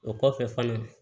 O kɔfɛ falen